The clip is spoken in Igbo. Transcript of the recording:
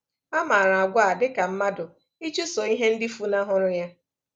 A maara àgwà a dị ka mmadụ ịchụso ihe ndị fụnahụrụ ya.